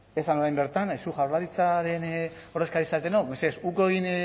esan orain bertan zuek jaurlaritzaren ordezkari zaretenok mesedez uko egin